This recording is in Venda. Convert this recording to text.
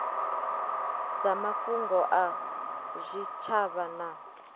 dza mafhungo a zwitshavha na